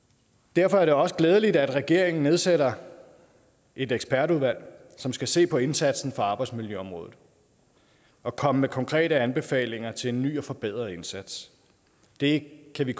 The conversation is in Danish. derfor er det også glædeligt at regeringen nedsætter et ekspertudvalg som skal se på indsatsen på arbejdsmiljøområdet og komme med konkrete anbefalinger til en ny og forbedret indsats det kan vi